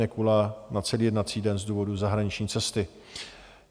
Nekula na celý jednací den z důvodu zahraniční cesty.